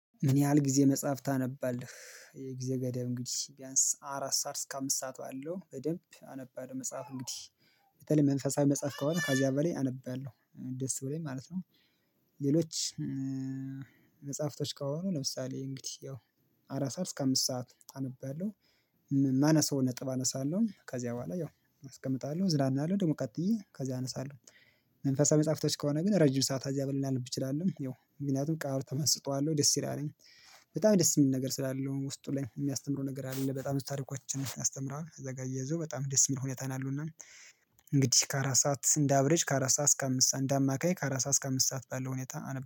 ምን ያህል ጊዜ መጽሐፍ ታነባለህ? የጊዜ ገደብ እንግዲህ ቢያንስ አራት ሰዓት እስከ አምስት ሰዓት ባለው በደንብ አነባለው መጽሐፍ እንግዲህ በተለይ መንፈሳዊ መጽሐፍ ከሆነ ከዚያ በላይ አነባለሁ ደስ ብሎኝ ማለት ነው። ሌሎች መጽሐፍቶች ከሆኑ ለምሳሌ እንግዲህ ያው አራት ሰዓት እስከ አምስት ሰዓት አነባለሁ። ማነሰው ነጥብ አነሳለሁ ከዚያ በኋላ ያው አስቀምጣለሁ እዝናናለሁ ደግሞ ቀጥዬ ከዚያ አነሳለሁ። መንፈሳዊ መጽሐፍቶች ከሆነ ግን ረጅም ሰዓት ከዚያ በላይ ላነብ እችላለሁ ያው ምክንያቱም ቃሉ ተመስጦ አለው ደስ ይላልም። በጣም ደስ የሚል ነገር ስላለው ውስጡ ላይ የሚያስተምረው ነገር ያለ በጣም ብዙ ታሪኮችን ያስተምራል እዛጋ አያያዙ በጣም ደስ የሚል ሁኔታ ነው ያለውና። እንግዲህ ከአራት ሰዓት እንደ አቭሬጅ ከአራት ሰዓት እስከ አምስት እንደ አማካይ ከአራት ሰዓት እስከ አምስት ሰዓት ባለው ሁኔታ አነብባለሁ